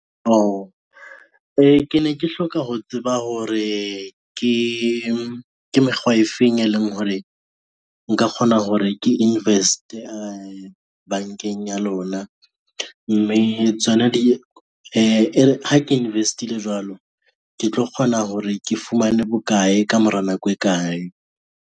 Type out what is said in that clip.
E, ke ne ke hloka ho tseba hore ke mekgwa e feng e leng hore, nka kgona hore ke invest-e bankeng ya lona, mme ha ke invest-ile jwalo, ke tlo kgona hore ke fumane bokae ka mora nako e kae.